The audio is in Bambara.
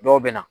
Dɔw bɛ na